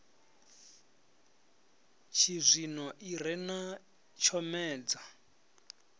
tshizwino i re na tshomedzo